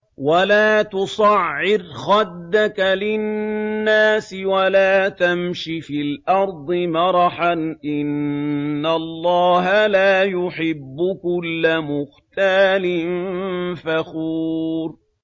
وَلَا تُصَعِّرْ خَدَّكَ لِلنَّاسِ وَلَا تَمْشِ فِي الْأَرْضِ مَرَحًا ۖ إِنَّ اللَّهَ لَا يُحِبُّ كُلَّ مُخْتَالٍ فَخُورٍ